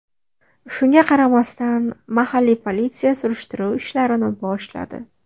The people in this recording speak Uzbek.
Shunga qaramasdan, mahalliy politsiya surishtiruv ishlarini boshladi.